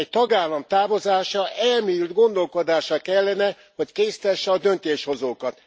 Egy tagállam távozása elmélyült gondolkodásra kellene, hogy késztesse a döntéshozókat.